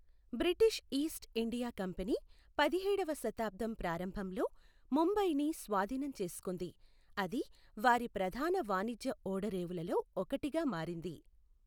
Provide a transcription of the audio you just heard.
British East India Company పదిహేడవ శతాబ్దం ప్రారంభంలో ముంబైని స్వాధీనం చేసుకుంది, అది వారి ప్రధాన వాణిజ్య ఓడరేవులలో ఒకటిగా మారింది.